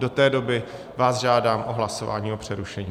Do té doby vás žádám o hlasování o přerušení.